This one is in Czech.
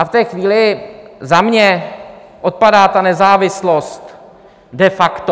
A v té chvíli - za mě - odpadá ta nezávislost de facto.